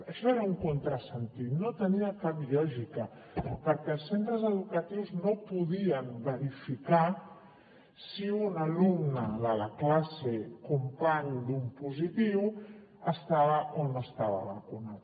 això era un contrasentit no tenia cap lògica perquè els centres educatius no podien verificar si un alumne de la classe company d’un positiu estava o no estava vacunat